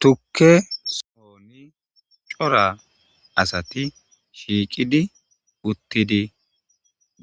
Tukke sooni cora asati shiiqidi uttidi